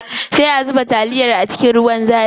Sai a zuba taliyar a cikin ruwan zafin.